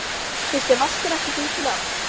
Finnst þér Vaskur ekki fínt nafn?